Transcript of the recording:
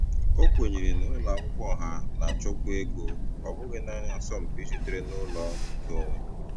O kwenyere na ụlọ akwụkwọ ọha na-achọkwu ego, ọ bụghị naanị asọmpi sitere na ụlọ ọrụ nkeonwe.